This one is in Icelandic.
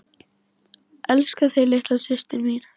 Elska þig litla systir mín.